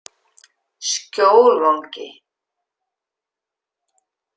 Skjólvangi